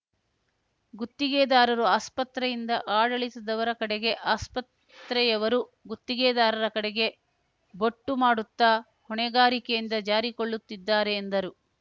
ಗುತ್ತಿಗೆದಾರರು ಆಸ್ಪತ್ರೆಯಿಂದ ಆಡಳಿತದವರ ಕಡೆಗೆ ಆಸ್ಪತ್ರೆಯವರು ಗುತ್ತಿಗೆದಾರರ ಕಡೆಗೆ ಬೊಟ್ಟು ಮಾಡುತ್ತ ಹೊಣೆಗಾರಿಕೆಯಿಂದ ಜಾರಿಕೊಳ್ಳುತ್ತಿದ್ದಾರೆ ಎಂದರು